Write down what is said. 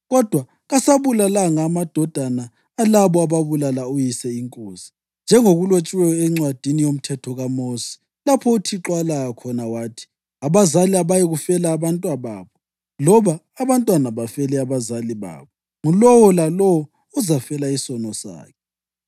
+ 14.6 UDutheronomi 24.16Kodwa kasabulalanga amadodana alabo ababulala uyise inkosi, njengokulotshiweyo eNcwadini yoMthetho kaMosi lapho uThixo alaya khona wathi: “Abazali abayikufela abantwababo, loba abantwana bafele abazali babo; ngulowo lalowo uzafela isono sakhe.”